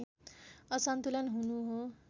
असन्तुलन हुनु हो